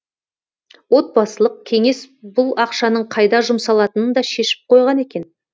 отбасылық кеңес бұл ақшаның қайда жұмсалатынын да шешіп қойған екен